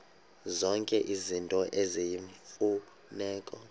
zonke izinto eziyimfuneko